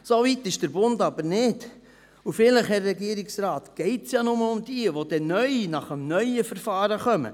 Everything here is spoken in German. Soweit ist der Bund aber nicht, und vielleicht, Herr Regierungsrat, geht es nur um jene, die neu, gemäss dem neuen Verfahren, kommen.